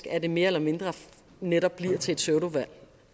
at det mere eller mindre netop bliver til et pseudovalg